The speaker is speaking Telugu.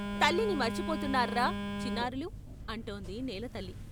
" తల్లిని మర్చిపోతున్నార్రా చిన్నారులూ, " అంటోంది నేలతల్లి.